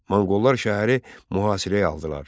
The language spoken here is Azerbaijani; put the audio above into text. Monqollar şəhəri mühasirəyə aldılar.